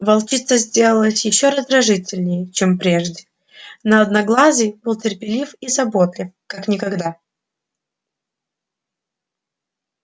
волчица сделалась ещё раздражительнее чем прежде но одноглазый был терпелив и заботлив как никогда